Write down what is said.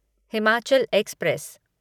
Himachal express